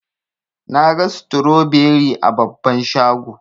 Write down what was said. Naga stroberi a babban shago.